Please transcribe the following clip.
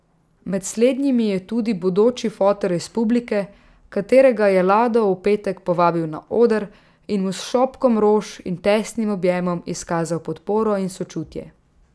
Med slednjimi je tudi bodoči fotr iz publike, katerega je Lado v petek povabil na oder in mu s šopkom rož in tesnim objemom izkazal podporo in sočutje.